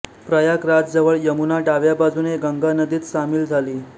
प्रयागराजजवळ यमुना डाव्या बाजूने गंगा नदीत सामील झाली